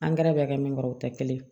Angɛrɛ bɛ kɛ min kɔrɔ o tɛ kelen ye